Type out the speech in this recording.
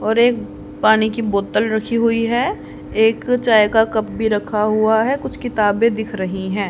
और एक पानी की बोतल रखी हुई है एक चाय का कप भी रखा हुआ है कुछ किताबें दिख रहीं हैं।